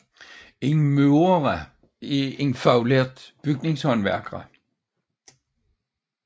En murer er en faglært bygningshåndværker